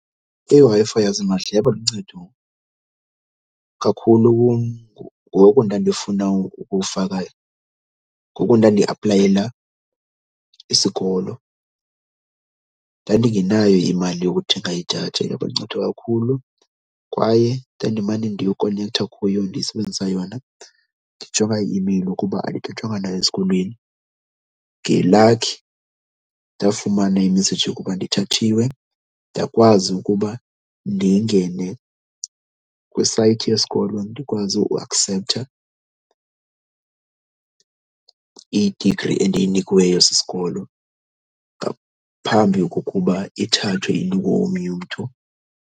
IWi-Fi yasimahla yaba luncedo kakhulu kum ngoku ndandiyofuna ukufaka, ngoku ndandiaplayela isikolo. Ndandingenayo imali yokuthenga idatha, yaba luncedo kakhulu kwaye ndandimane ndiyokonektha kuyo, ndisebenzisa yona, ndijonga i-imeyile ukuba andithathwanga na esikolweni. Ngelakhi ndafumana imeseji yokuba ndithathiwe ndakwazi ukuba ndingene kwisayithi yesikolo ndikwazi uakseptha i-degree endiyinikiweyo sisikolo ngaphambi kokuba ithathwe inikwe omnye umntu.